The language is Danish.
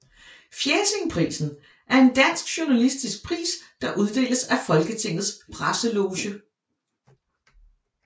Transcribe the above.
Fjæsingprisen er en dansk journalistisk pris der uddeles af Folketingets Presseloge